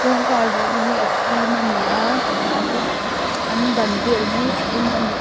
kawngkhar luh na hi a fim a ni a an kawng an ban vel hi a eng a ni.